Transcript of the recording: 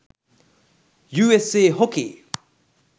usa hockey